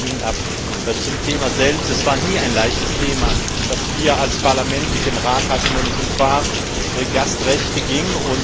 Aber es hängt von Ihnen ab. Zum Thema selbst Es war nie ein leichtes Thema, das wir als Parlament mit dem Rat hatten, wenn es um Fahrgastrechte ging.